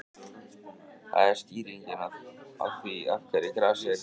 Það er skýringin á því af hverju grasið er grænt.